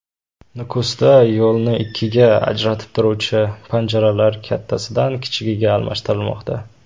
Nukusda yo‘lni ikkiga ajratib turuvchi panjaralar kattasidan kichigiga almashtirilmoqda .